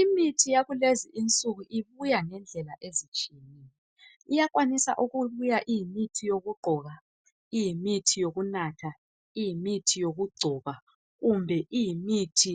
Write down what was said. Imithi yakulezinsuku ibuya ngendlela ezitshiyetshiyeneyo. Iyakwanisa ukubuya imithi yokuqhoba, yokugcoba, yokunatha, kumbe iyimithi